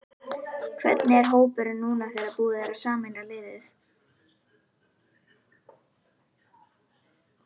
Hvernig er hópurinn núna þegar búið er að sameina liðin?